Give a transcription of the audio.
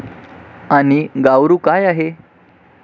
आणि गाव्ऋ काय आहे?